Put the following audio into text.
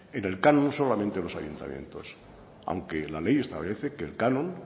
en el canon solamente los ayuntamientos aunque la ley establece que el canon